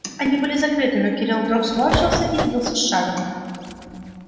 они были закрыты но кирилл вдруг сморщился и сбился с шага